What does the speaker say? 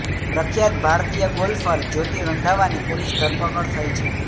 પ્રખ્યાત ભારતીય ગોલ્ફર જ્યોતિ રંધાવાની પોલીસ ધરપકડ થઈ છે